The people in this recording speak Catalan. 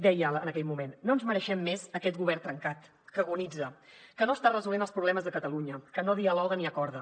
dèiem en aquell moment no ens mereixem més aquest govern trencat que agonitza que no està resolent els problemes de catalunya que no dialoga ni acorda